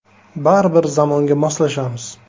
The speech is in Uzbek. Baribir zamonga moslashamiz.